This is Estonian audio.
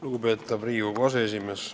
Lugupeetav Riigikogu aseesimees!